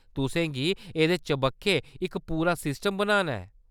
तुसें गी एह्‌‌‌दे चबक्खै इक पूरा सिस्टम बनाना ऐ।